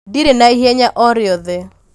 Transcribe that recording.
ndirĩ na ihenya o rĩothe